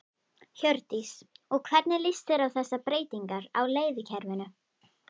Hjördís: Og hvernig líst þér á þessar breytingar á leiðakerfinu?